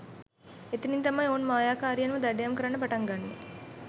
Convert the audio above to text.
එතනින් තමයි ඔවුන් මායාකාරියන්ව දඩයම් කරන්න පටන් ගන්නේ